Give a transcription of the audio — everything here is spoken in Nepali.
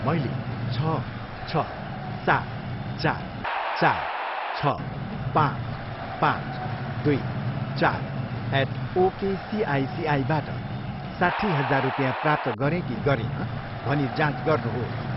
मैले छ, छ, सात, चार, चार, छ, पाँच, पाँच, दुई, चार एट ओकेसिआइसिआईबाट साट्ठी हजार रुपिँया प्राप्त गरेँ कि गरिनँ भनी जाँच गर्नुहोस्।